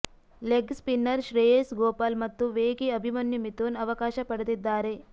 leg spinner Shreyas Gopal ಮತ್ತು ವೇಗಿ ಅಭಿಮನ್ಯು ಮಿಥುನ್ ಅವಕಾಶ ಪಡೆದಿದ್ದಾರೆ